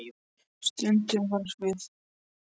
Stundum var við hæfi að stríða stelpusponsinu.